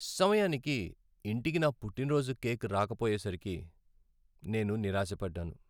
సమయానికి ఇంటికి నా పుట్టినరోజు కేక్ రాకపోయేసరికి నేను నిరాశపడ్డాను.